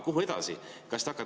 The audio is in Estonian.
Kuhu edasi?